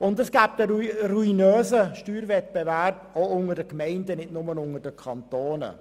Daraus ergäbe sich ein ruinöser Steuerwettbewerb auch unter den Gemeinden und nicht nur unter den Kantonen.